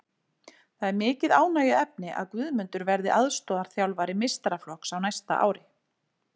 Það er mikið ánægjuefni að Guðmundur verði aðstoðarþjálfari meistaraflokks á næsta ári.